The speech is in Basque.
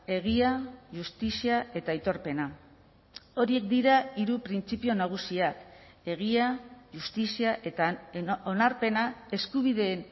egia justizia eta aitorpena horiek dira hiru printzipio nagusiak egia justizia eta onarpena eskubideen